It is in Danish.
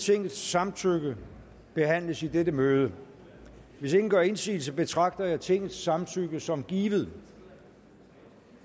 tingets samtykke behandles i dette møde hvis ingen gør indsigelse betragter jeg tingets samtykke som givet